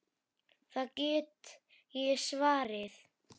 Það get ég svarið.